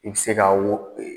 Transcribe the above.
I bɛ se k'a wo